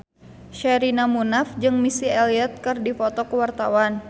Sherina Munaf jeung Missy Elliott keur dipoto ku wartawan